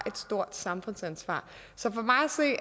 stort samfundsansvar så for mig